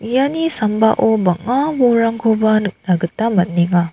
iani sambao bang·a bolrangkoba nikna gita man·enga.